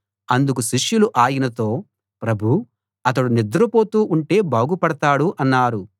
అందుకు శిష్యులు ఆయనతో ప్రభూ అతడు నిద్రపోతూ ఉంటే బాగుపడతాడు అన్నారు